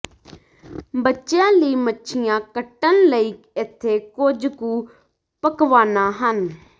ਬੱਚਿਆਂ ਲਈ ਮੱਛੀਆਂ ਕੱਟਣ ਲਈ ਇੱਥੇ ਕੁਝ ਕੁ ਪਕਵਾਨਾ ਹਨ